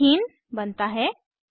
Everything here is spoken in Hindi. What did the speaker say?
ईथीन बनता है